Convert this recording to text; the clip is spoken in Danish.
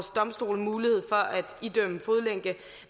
domstolene mulighed for at idømme fodlænke